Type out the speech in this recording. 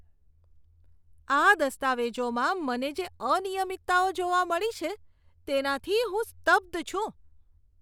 આ દસ્તાવેજોમાં મને જે અનિયમિતતાઓ જોવા મળી છે, તેનાથી હું સ્તબ્ધ છું.